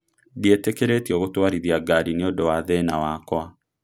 Ndietekeretio gũtwarithia ngari nĩ ũndo wa thĩĩna wakwa